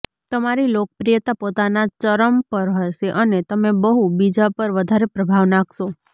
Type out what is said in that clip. તમારી લોકપ્રિયતા પોતાના ચરમ પર હશે અને તમે બહુ બીજા પર વધારે પ્રભાવ નાંખશે